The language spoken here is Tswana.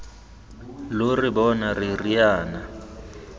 lo re bona re riana